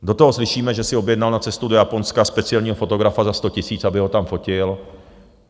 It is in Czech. Do toho slyšíme, že si objednal na cestu do Japonska speciálního fotografa za 100 000, aby ho tam fotil.